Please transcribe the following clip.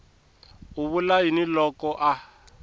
u vula yini loko a